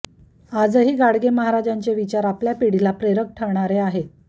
आजही गाडगे महाराजांचे विचार आपल्या पिढीला प्रेरक ठरणारे आहेत